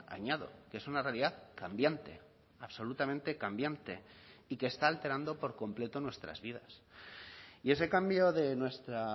añado que es una realidad cambiante absolutamente cambiante y que está alterando por completo nuestras vidas y ese cambio de nuestra